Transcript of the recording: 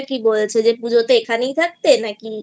পুজোতে এখানেই থাকতে না নাকি